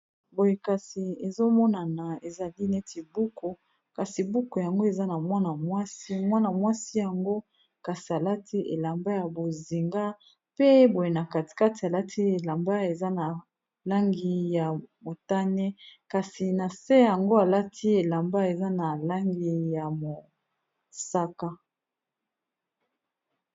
boye kasi ezomonana ezali neti buku kasi buku yango eza na wmwana mwasi yango kasi alati elamba ya bozinga pe boye na katikate alati elamba eza na langi ya motane kasi na se yango alati elamba eza na langi ya mosaka